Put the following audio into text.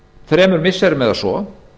þremur missirum eða svo